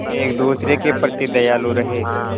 एक दूसरे के प्रति दयालु रहें